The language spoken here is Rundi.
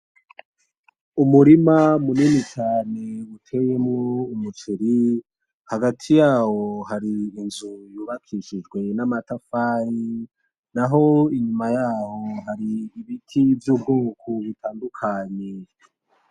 Umurima munini cane uteyemwo umuceri, hagati yawo hari inzu yubakishijwe namatafari, naho inyuma yaho hari ibiti vyubwoko butandukanye.